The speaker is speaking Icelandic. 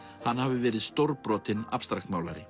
hann hafi verið stórbrotinn